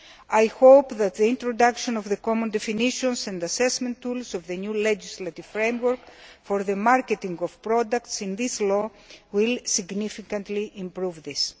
I hope that the introduction of the common definitions and assessment tools of the new legislative framework for the marketing of products in this law will significantly improve this.